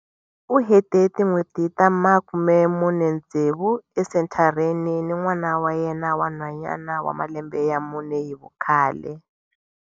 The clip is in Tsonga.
U hete tin'hweti ta makumemune tsevu esenthareni ni n'wana wa yena wa nhwanyana wa malembe ya mune hi vukhale.